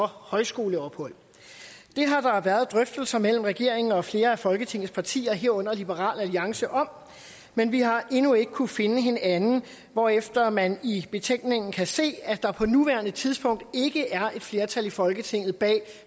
højskoleophold det har der været drøftelser mellem regeringen og flere af folketingets partier herunder liberal alliance om men vi har endnu ikke kunnet finde hinanden hvorefter man i betænkningen kan se at der på nuværende tidspunkt ikke er flertal i folketinget bag